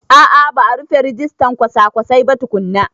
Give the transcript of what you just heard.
A a ba a rufe rijistan kwasa-kwasai ba tukunna.